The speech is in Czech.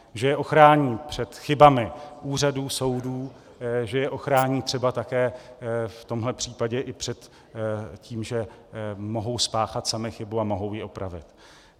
Že je ochrání před chybami úřadů, soudů, že je ochrání třeba také v tomhle případě i před tím, že mohou spáchat sami chybu a mohou ji opravit.